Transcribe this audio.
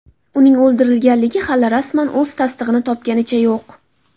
Uning o‘ldirilganligi hali rasman o‘z tasdig‘ini topganicha yo‘q.